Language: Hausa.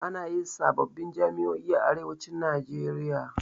Ana yin sababbin jami'o'i a arewacin najeria